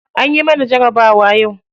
Anyi mana jarabawa yau.